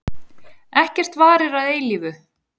Ekkert varir að eilífu.